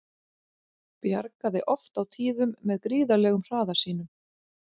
Bjargaði oft á tíðum með gríðarlegum hraða sínum.